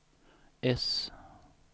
S